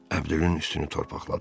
Əbdülün üstünü torpaqladım.